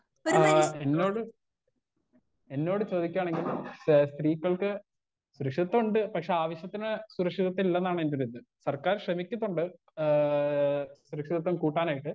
Speaker 1 ആ എന്നോട് എന്നോട് ചോദിക്കാണെങ്കിൽ ഏ സ്ത്രീകൾക്ക് സുരക്ഷിദത്വണ്ട് പക്ഷെ ആവശ്യത്തിന് സുരക്ഷിദത്വല്ലെന്നാണെന്റെയൊരിത് സർക്കാർ ശ്രമിച്ചിട്ടുണ്ട് ഏ സുരക്ഷിദത്വം കൂട്ടാനായിട്ട്.